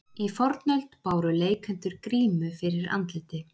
í fornöld báru leikendur grímu fyrir andliti